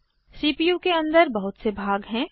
CPU के अंदर बहुत से भाग हैं